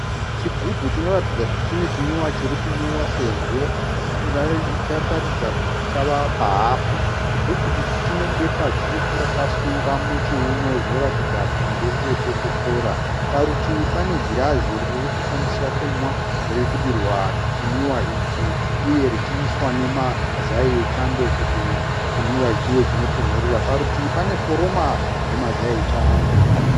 Chigubhu chinoratidza kuti chine chimwiwa chiri kumwiwa sezvo chataridza kuti chava pahafu. Chigubhu ichi chine bepa dzvuku rakasunga muchiuno zvinoratidza kuti ndere kokokora. Parutivi pane girazi riri kushandiswa kumwa riri kudirwa chimwiwa ichi uye richiiswa nemazai echando kuti chimwiwa ichi chive chitonhorera. Parutivi pane foroma yemazai echando.